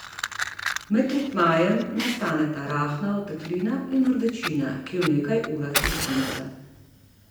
Med tretmajem nastaneta rahla oteklina in rdečina, ki v nekaj urah izgineta.